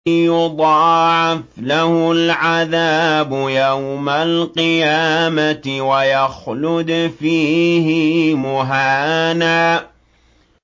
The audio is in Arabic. يُضَاعَفْ لَهُ الْعَذَابُ يَوْمَ الْقِيَامَةِ وَيَخْلُدْ فِيهِ مُهَانًا